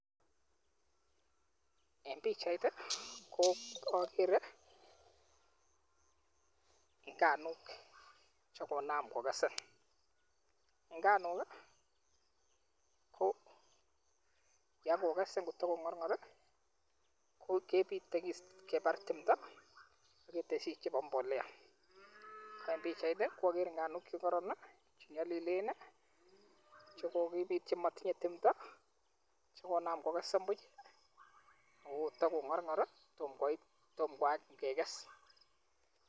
En pichait ko akere nganuk chekonam kokesen, nganuk ko yakokesen kotong'orng'or kebite kebar timto aketeshi chepo mbolea, ko en pichait akere nganuk chekoron chenyolilen chekokibit chemotinye timto chekonam kokesen buch chekoto kong'orng'or tom koit kekes.